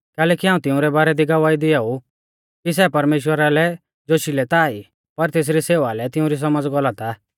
कैलैकि हाऊं तिऊं रै बारै दी गवाही दिआउ ऊ कि सै परमेश्‍वरा लै जोशिलै ता ई पर तेसरी सेवा लै तिउंरी सौमझ़ गलत आ